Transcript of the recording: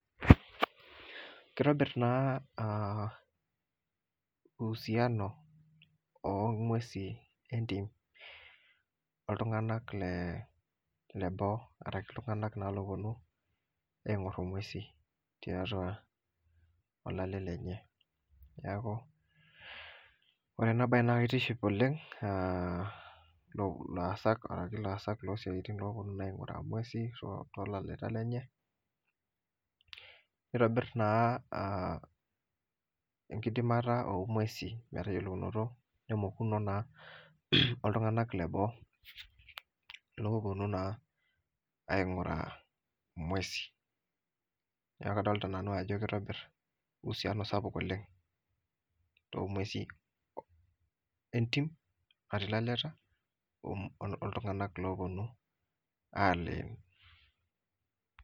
Kitobir naa ah uhusiano ong'uesi entim oltung'anak le leboo arashu iltung'anak naa loponu aing'or ing'uesin tiatua olale lenye. Neeku ore enabae na kitiship oleng laasak losiatin loponu aing'uraa ng'uesi tolaleta lenye, nitobir naa enkidimata ong'uesi metayiolounoto, nemokuno naa oltung'anak leboo, kulo oponu naa aing'uraa ng'uesi. Neeku kadolta nanu ajo kitobir uhusiano sapuk oleng to ng'uesi entim, natii laleta, oltung'anak loponu aleen.